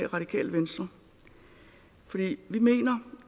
radikale venstre for vi mener